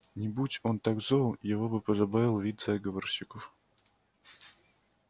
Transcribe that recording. не будь он так зол его бы позабавил вид заговорщиков